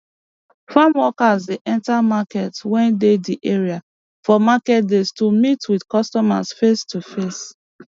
farm workers dey enta markets wey dey di area for market days to meet with customer face to face